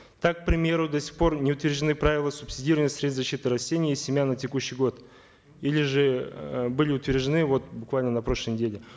так к примеру до сих пор не утверждены правила субсидирования средств защиты растений и семян на текущий год или же э были утверждены вот буквально на прошлой неделе